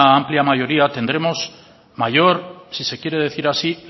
amplia mayoría tendremos mayor si se quiere decir así